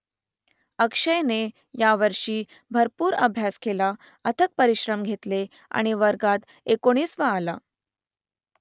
अक्षयने यावर्षी भरपूर अभ्यास केला अथक परिश्रम घेतले आणि वर्गात एकोणिसावा आला